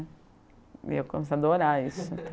E eu comecei a adorar isso